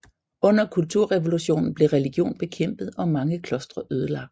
Under kulturrevolutionen blev religion bekæmpet og mange klostre ødelagt